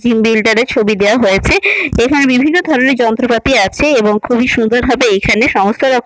gym বিলটার ছবি দেওয়া হয়েছে এখানে বিভিন্ন ধরনের যন্ত্রপাতি আছে এবং খুবই সুন্দর ভাবে এখানে সমস্ত রকম--